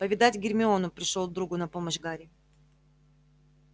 повидать гермиону пришёл другу на помощь гарри